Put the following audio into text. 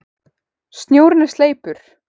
Snjórinn er sleipur!